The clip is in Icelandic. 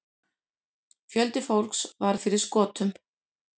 Fjöldi fólks varð fyrir skotum.